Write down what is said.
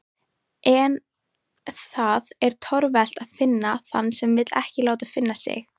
En það er torvelt að finna þann sem vill ekki láta finna sig.